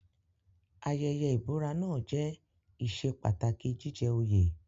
Ayẹyẹ ìbúra náà jẹ́ ìṣe pàtàkì jíjẹ òye.